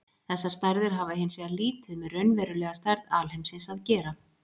Þessar stærðir hafa hins vegar lítið með raunverulega stærð alheimsins að gera.